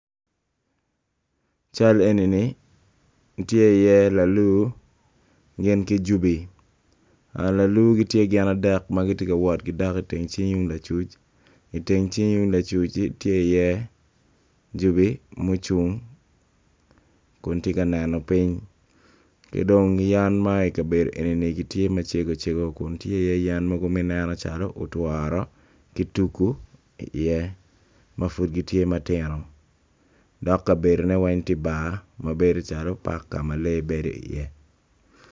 I cal enini tye i ye lalu gin ki jubi lalu tye gin adek ma giwoto i cingi ma lacuc i teng cingi lacuci tye iye jubi mucung kun tye ka neno piny yen ma i kabedo eni tye yen macegocego ma ineno calo otworo ki tugu ma pud gitye ma tino dok kabedone tye calo bar paka ma lee bedo iye.